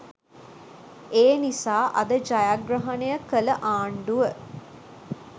ඒ නිසා අද ජයග්‍රහණය කළ ආණ්ඩුව